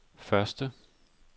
første